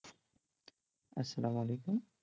আসসালামু আলাইকুম